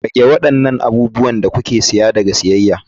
Rage waɗannan abubuwan da kuke siya daga siyayya.